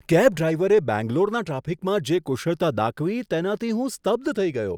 Cab ડ્રાઈવરે બેંગ્લોરના ટ્રાફિકમાં જે કુશળતા દાખવી તેનાથી હું સ્તબ્ધ થઈ ગયો.